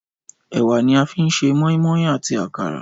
Ẹ̀wà ni a fi ń ṣe mọ́ínmọ́ín àti àkàrà